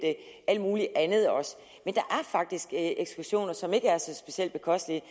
alt muligt andet også men er faktisk ekskursioner som ikke er så specielt bekostelige